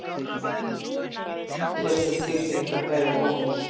Sérstök tilfinning að kveðja Bónus